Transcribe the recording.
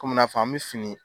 Komi n'a fɔ an bɛ fini